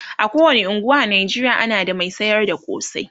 a kowani unguwa a Najeriya ana da Mai sayar da kosai